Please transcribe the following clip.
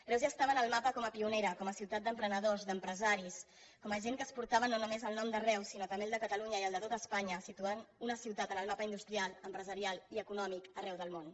reus ja estava en el mapa com a pionera com a ciutat d’emprenedors d’empresaris com a gent que exportava no només el nom de reus sinó també el de catalunya i el de tot espanya i situaven una ciutat en el mapa industrial empresarial i econòmic arreu del món